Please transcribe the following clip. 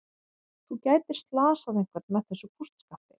Þú gætir slasað einhvern með þessu kústskafti.